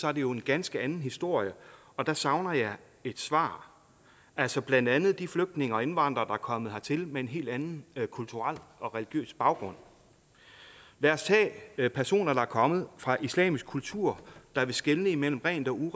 er det jo en ganske anden historie og der savner jeg et svar altså blandt andet vedrørende de flygtninge og indvandrere der er kommet hertil med en helt anden kulturel og religiøs baggrund lad os tage personer der er kommet fra en islamisk kultur der vil skelne mellem rent og